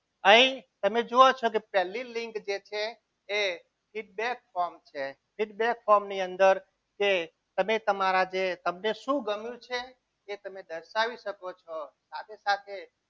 અહીં તમે જુઓ છો કે પહેલી લિંક જે છે એ feedback form છે feedback form ની અંદર જે તમે તમારા તમને શું ગમ્યું છે એ તમે દર્શાવી શકો છો. સાથે સાથે